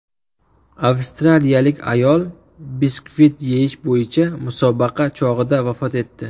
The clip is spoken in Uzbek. Avstraliyalik ayol biskvit yeyish bo‘yicha musobaqa chog‘ida vafot etdi.